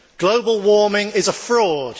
Global warming is a fraud.